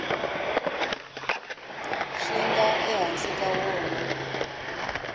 swi nga ehansi ka wona